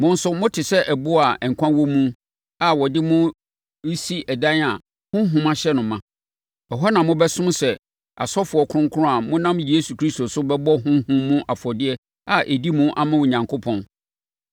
Mo nso mote sɛ aboɔ a nkwa wɔ mu a wɔde mo resi ɛdan a honhom ahyɛ no ma. Ɛhɔ na mobɛsom sɛ asɔfoɔ Kronkron a monam Yesu Kristo so bɛbɔ honhom mu afɔdeɛ a ɛdi mu ama Onyankopɔn.